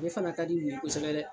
ale fana ka di nin ye kosɛbɛ dɛ.